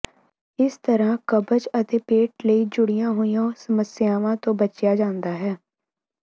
ਇਸ ਤਰ੍ਹਾਂ ਕਬਜ਼ ਅਤੇ ਪੇਟ ਨਾਲ ਜੁੜੀਆਂ ਹੋਰ ਸਮੱਸਿਆਵਾਂ ਤੋਂ ਬਚਿਆ ਜਾਂਦਾ ਹੈ